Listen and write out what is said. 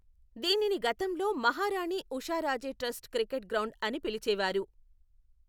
దీనిని గతంలో Maharani Usharaje trust cricket ground అని పిలిచేవారు.